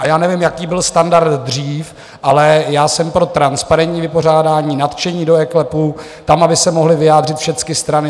A já nevím, jaký byl standard dřív, ale já jsem pro transparentní vypořádání, nadšení do eKLEPu, tam aby se mohly vyjádřit všecky strany.